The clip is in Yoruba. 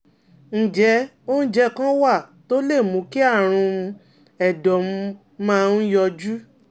Ǹjẹ́ oúnjẹ kan wà tó lè mú kí àrùn um ẹ̀dọ̀ um máa um yọjú?